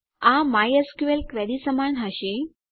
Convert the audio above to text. આ MySQL query સમાન હશે